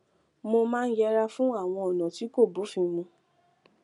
mo máa ń yẹra fún àwọn ònà tí kò bófin mu